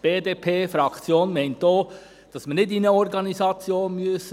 Die BDP-Fraktion meint auch, dass wir nicht einer Organisation beitreten müssen.